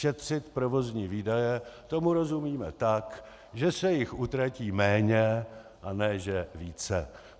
Šetřit provozní výdaje, tomu rozumíme tak, že se jich utratí méně, a ne že více.